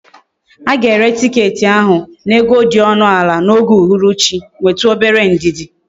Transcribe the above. Aga ere ticket ahu na ego di onu ala na oge uhuru chi, nwetu obere ndidi!